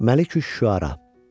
Məlikiş-Şüəra.